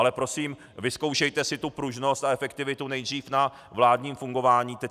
Ale prosím, vyzkoušejte si tu pružnost a efektivitu nejdřív na vládním fungování.